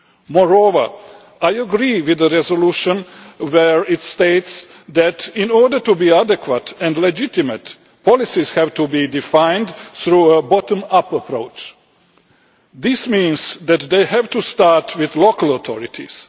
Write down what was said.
Moreover, I agree with the resolution where it states that, in order to be adequate and legitimate, policies have to be defined through a bottom up approach. This means that they have to start with local authorities.